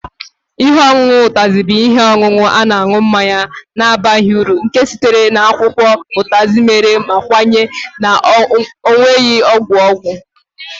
Ihe ọṅụṅụ Utazi bụ ihe ọṅụṅụ na-aṅụ mmanya na-abaghị uru nke sitere na akwụkwọ Utazi mere ma kwenye na ọ nwere ọgwụ ọgwụ